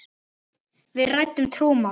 Við ræddum trúmál.